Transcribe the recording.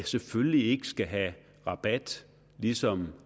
selvfølgelig ikke skal have rabat ligesom